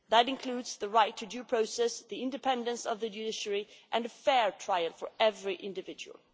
That includes the right to due process, the independence of the judiciary and a fair trial for every individual.